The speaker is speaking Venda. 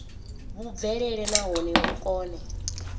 vhu bvelele nahone vhu kone